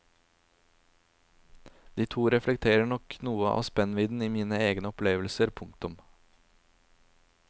De to reflekterer nok noe av spennvidden i mine egne opplevelser. punktum